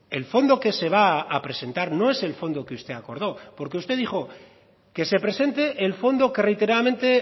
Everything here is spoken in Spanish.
el fondo que se va a presentar no es el fondo que usted acordó porque usted dijo que se presente el fondo que reiteradamente